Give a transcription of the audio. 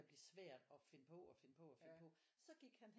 Blive svært at finde på og finde på og finde på så gik han hen